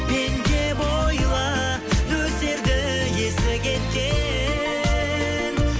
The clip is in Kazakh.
мен деп ойла нөсерді есі кеткен